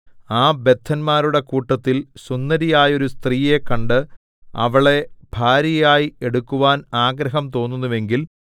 ആ ബദ്ധന്മാരുടെ കൂട്ടത്തിൽ സുന്ദരിയായൊരു സ്ത്രീയെ കണ്ട് അവളെ ഭാര്യയായി എടുക്കുവാൻ ആഗ്രഹം തോന്നുന്നുവെങ്കിൽ